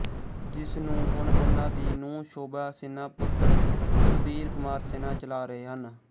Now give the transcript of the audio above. ਜਿਸ ਨੂੰ ਹੁਣ ਉਨ੍ਹਾਂ ਦੀ ਨੂੰਹ ਸ਼ੋਭਾ ਸਿਨ੍ਹਾ ਪੁੱਤਰ ਸੁਧੀਰ ਕੁਮਾਰ ਸਿਨਹਾ ਚਲਾ ਰਹੇ ਹਨ